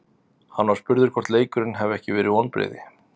Hann var spurður hvort leikurinn hefði ekki verið vonbrigði.